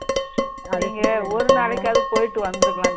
நீங்க ஒரு நாளைக்காவது போயிட்டு வந்திருக்கலாம்